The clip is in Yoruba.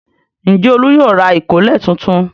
Ǹjẹ́ Olú yóò ra ìkọ́lẹ̀ tuntun?